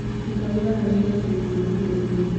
Ruta wĩra harĩ matanya ma ihinda inini.